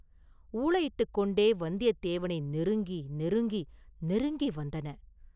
ஊளையிட்டுக் கொண்டே வந்தியத்தேவனை நெருங்கி, நெருங்கி நெருங்கி வந்தன.